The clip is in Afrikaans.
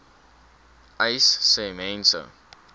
uys sê mense